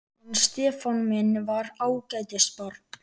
Hann Stefán minn var ágætis barn.